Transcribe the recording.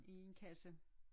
I en kasse